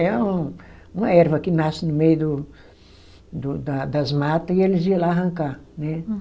É um uma erva que nasce no meio do do, da das mata e eles iam lá arrancar, né?